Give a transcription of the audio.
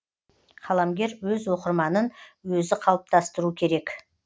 қаламгер өз оқырманын өзі қалыптастыру керек